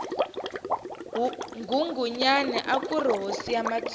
nghunghunyani akuri hosi ya matsonga